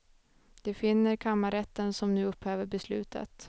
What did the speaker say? Det finner kammarrätten som nu upphäver beslutet.